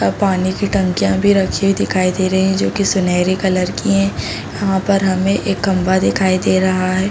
पानी की टंकिया भी रखी हुई दिखाई दे रही हैं जो कि सुनेरी कलर की हैं। यहाँ पर हमें एक खंभा दिखाई दे रहा है।